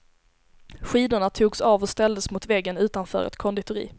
Skidorna togs av och ställdes mot väggen utanför ett konditori.